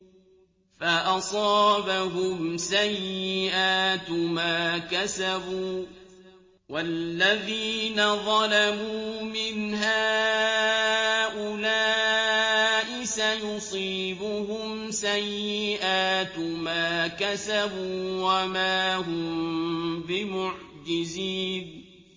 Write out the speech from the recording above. فَأَصَابَهُمْ سَيِّئَاتُ مَا كَسَبُوا ۚ وَالَّذِينَ ظَلَمُوا مِنْ هَٰؤُلَاءِ سَيُصِيبُهُمْ سَيِّئَاتُ مَا كَسَبُوا وَمَا هُم بِمُعْجِزِينَ